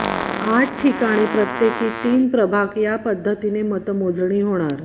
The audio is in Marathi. आठ ठिकाणी प्रत्येकी तीन प्रभाग या पद्धतीने मतमोजणी होणार